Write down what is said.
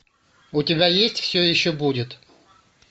у тебя есть все еще будет